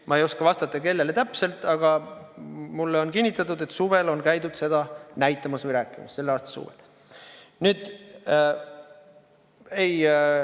Ma ei oska vastata, kellele täpselt, aga mulle on kinnitatud, et selle aasta suvel on käidud seda tutvustamas.